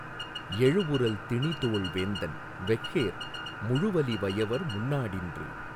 எழுவுறல் திணிதோள் வேந்தன் வெஃறேர் முழுவலி வயவர் முன்னா டின்று